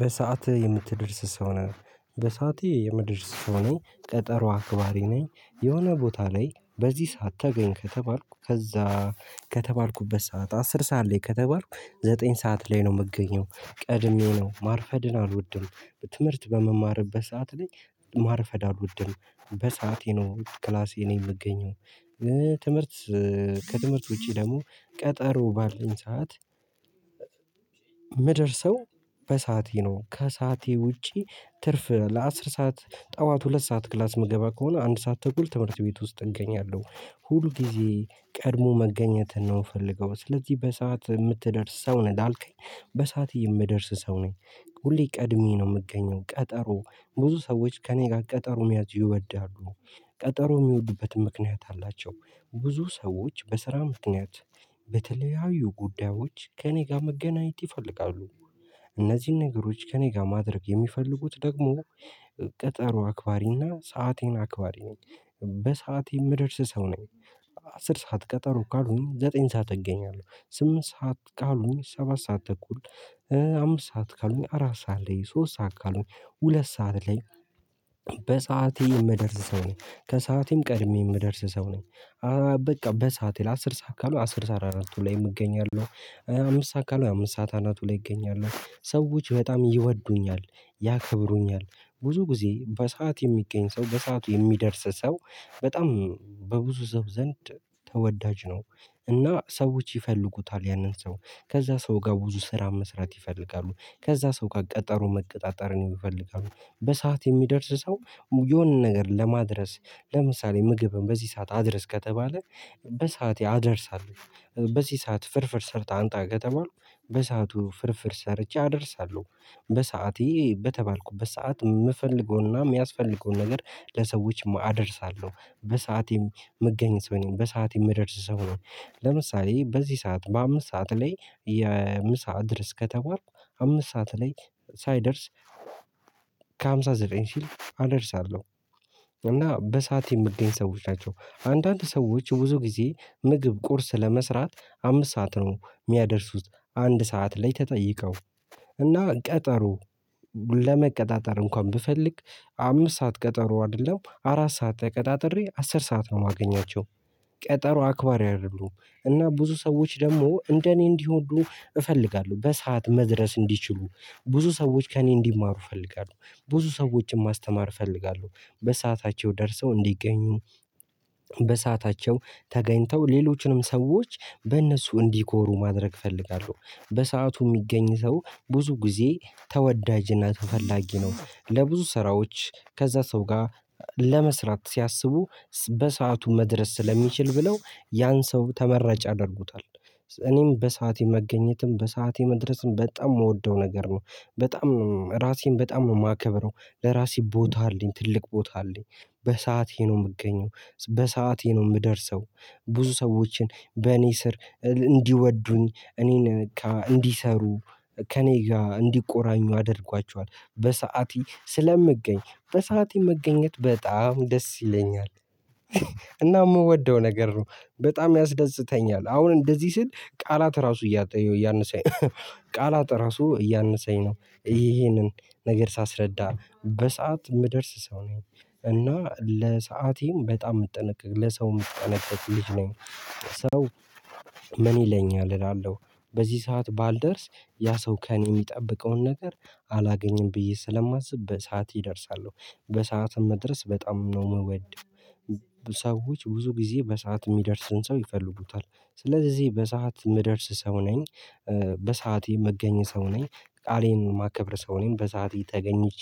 በሰአትህ የምትደርስ ሰው ነህ በሰአቴ የምደርስ ሰው ነኝ ቀጠሮ አክባሪ ነኝ የሆነ ቦታ ላይ በዚህ ሰዓት ተገኝ ከተባልኩ ከዛ ከተባልኩበት ሰዓት አስር ሰዓት ላይ ከተባልኩ ዘጠኝ ሰዓት ላይ ነው የምገኘው ቀድሜው ነው ማርፈድን አልወድም። ትምህርት በምማርበት ሰዓት ላይ ማርፈድ አልወድም በሰአቴ ነው ክላሴ ነው የምገኘው። ትምህርት ከትምህርት ውጪ ደግሞ ቀጠሮ ባለኝ ሰዓት የምደርሰው በሰአቴ ነው ከሰአቴ ውጪ ትርፍ ለአስር ሰዓት ጠዋት ሁለት ሰዓት ክላስ መገባ ከሆነ አንድ ሰዓት ተኩል ትምህርት ቤት ውስጥ እገኛለሁ ሁል ጊዜ ቀድሞ መገኘት ነው የምፈልገው። ስለዚህ በሰአት የምትደርስ ሰው ነህ ዳልከኝ? በሰአት የምደርስ ሰው ነህ? ሁሌ ቀድሜ ነው የምገኘው ቀጠሮ ብዙ ሰዎች ከእኔ ጋር ቀጠሮ መያዝ ይወዳሉ። ቀጠሮ የሚወድበትም ምክንያት አላቸው። ብዙ ሰዎች በስራ ምክንያት በተለያዩ ጉዳዮች ከእኔ ጋር መገናኘት ይፈልጋሉ። እነዚህን ከእኔ ጋር ማድረግ የሚፈልጉት ደግሞ ቀጠሮ አክባሪና ሰአቴን አክባሪ ነኝ። የምደርስ ሰው ነኝ። አስር ሰዓት ቀጠሮ ካሉኝ ዘጠኝ ሰዓት እገኛለሁ ስምንት ሰዓት ካሉኝ ሰባት ሰዓት ተኩል አምስት ሰዓት ካሉኝ አራት ሰዓት ላይ ሶስት ሰዓት ካሉኝ ሁለት ሰዓት ላይ። በሰአቴ የምደርስ ሰው ነኝ ከሰዓቴም ቀድሜ የምደርስ ሰው ነኝ። በቃ በሰአቴ ላይ አስር ሰዓት ካሉ አስር ሰዓት አናቱ ላይ እገኛለሁ። አምስት ሰዓት ካሉ አምስት ሰዓት አናቱ ላይ እገኛለሁ ሰዎች በጣም ይወዱኛል። ያከብሩኛል ብዙ ጊዜ በሰአት የሚገኝ ሰው በሰአቱ የሚደርስ ሰው በጣም በብዙ ሰው ዘንድ ተወዳጅ ነው። እና ሰዎች ይፈልጉታል ያንን ሰው ከዛ ሰው ጋር ብዙ ስራ መስራት ይፈልጋሉ ከዛ ሰው ጋር ቀጠሮ መቀጣጠርን ይፈልጋሉ። በሰአት የሚደርስ ሰው የሆነን ነገር ለማድረስ ለምሳሌ ምግብን በዚህ ሰዓት አድርስ ከተባለ በሰአቴ አደርሳለሁ። በዚህ ሰዓት ፍርፍር ሰርተህ አንጣ ከተባልኩ በሰአቱ ፍርፍር ሰርቼ አደርሳለሁ። በሰአቴ በተባልኩ በሰአት የምፈልገውና የሚያስፈልገው ነገር ለሰዎች አደርሳለሁ በሰአቴም የምገኝ ሰው ነኝ በሰአቴም የምደርስ ሰው ነኝ። ለምሳሌ በዚህ ሰዓት በአምስት ሰዓት ላይ የምሳ አድርስ ከተባርኩ አምስት ሰዓት ላይ ሳይደርስ ከሃምሳ ዘጠኝ ሲል አደርሳለሁ። እና በሰአቴ የምገኝ ሰዎች ናቸው አንዳንድ ሰዎች ብዙ ጊዜ ምግብ ቁርስ ለመስራት አምስት ሰዓት ነው የሚያደርሱት። አንድ ሰዓት ላይ ተጠይቀው እና ቀጠሮ ለመቀጣጠር እንኳን ብፈልግ አምስት ሰዓት ቀጠሮ አይደለም አራት ሰዓት ተቀጣጥሬ አስር ሰዓት ነው የማገኛቸው። ቀጠሮ አክባሪ አይደሉም። እና ብዙ ሰዎች ደግሞ እንደኔ እንዲወዱ እፈልጋለሁ በሰአት መድረስ እንዲችሉ ብዙ ሰዎች ከእኔ እንዲማሩ እፈልጋለሁ። ብዙ ሰዎችን ማስተማር እፈልጋለሁ በሰአታቸው ደርሰው እንዲገኙ በሰአታቸው ተገኝተው ሌሎችንም ሰዎች በእነሱ እንዲኮሩ ማድረግ እፈልጋለሁ። በሰአቱ የሚገኝ ሰው ብዙ ጊዜ ተወዳጅነት ተፈላጊ ነው ለብዙ ስራዎች ከዛ ሰው ጋር ለመስራት ሲያስቡ በሰአቱ መድረስ ስለሚችል ብለው ያን ሰው ተመራጭ ያደርጉታል። እኔም በሰአቴ መገኘትም በሰአቴ መድረስም በጣም የምወደው ነገር ነው። በጣም ራሴን በጣም የማከብረው ለራሴ ቦታ አለኝ ትልቅ ቦታ አለኝ። በሰአቴ ነው የምገኘው በሰአቴ ነው የምደርሰው። ብዙ ሰዎችን በእኔ ስር እንዲወዱኝ እኔን እንዲሰሩ ከእኔ ጋር እንዲቆራኙ አድርጓቸዋል በሰአቴ ስለምገኝ በሰአቴ መገኘት በጣም ደስ ይለኛል። እና የምወደው ነገር ነው። በጣም ያስደስተኛል አሁን እንደዚህ ስል ቃላት ራሱ እያነሳኝ እያነሰኝ ቃል አራሱ እያነሰኝ ነው ይሄንን ነገር ሳስረዳ በሰአት የምደርስ ሰው ነኝ። እና ለሰአቴም በጣም እምጠነቀቅ ለሰው እምጠነቀቅ ልጅ ነኝ። ሰው ምን ይለኛል እላለሁ? በዚህ ሰዓት ባልደርስ ያ ሰው ከእኔ የሚጠብቀውን ነገር አላገኘም ብዬ ስለማስብ በሰአት እደርሳለሆ። በሰአትም መድረስ በጣም ነው የምወደው ብዙ ጊዜ በሰአት የሚደርስን ሰው ይፈልጉታል ስለዚህ በሰአት የምደርስ ሰው ነኝ። በሰአቴ የምገኝ ሰው ነኝ። ቃሌን ማከብር ሰው ነኝ በሰአቴ ተገኝቼ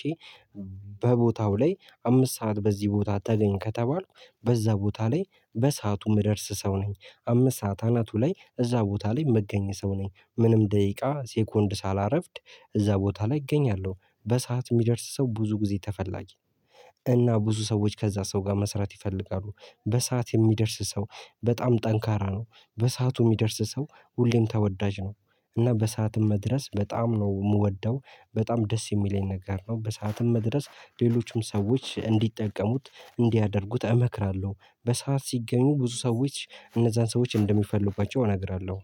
በቦታው ላይ አምስት ሰዓት በዚህ ቦታ ተገኝ ከተባልኩ በዛ ቦታ ላይ በሰአቱ ምደርስ ሰው ነኝ። አምስት ሰዓት አናቱ ላይ እዛ ቦታ ላይ መገኘት ሰው ነኝ ምንም ደቂቃ ሴኮንድ ሳላረፍድ እዛ ቦታ ላይ እገኛለሁ። በሰአት የሚደርስ ሰው ብዙ ጊዜ ተፈላጊ። እና ብዙ ሰዎች ከዛ ሰው ጋር መስራት ይፈልጋሉ። በሰአት የሚደርስ ሰው በጣም ጠንካራ ነው። በሰአቱ የሚደርስ ሰው ሁሌም ተወዳጅ ነው። እና በሰአትም መድረስ በጣም ነው የምወደው። በጣም ደስ የሚለኝ ነገር ነው በሰአትም መድረስ ሌሎችም ሰዎች እንዲጠቀሙት እንዲያደርጉት እመክራለሁ። በሰአት ሲገኙ ብዙ ሰዎች እነዛን ሰዎች እንደሚፈልጉባቸው እነግራለሁ